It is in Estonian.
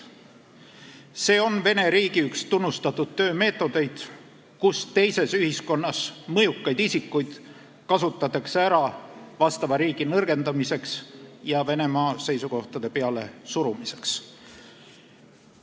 See on Vene riigi üks tunnustatud töömeetodeid, kus teises ühiskonnas mõjukaid isikuid kasutatakse ära vastava riigi nõrgendamiseks ja Venemaa seisukohtade pealesurumiseks.